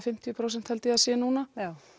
fimmtíu prósent held ég að það sé núna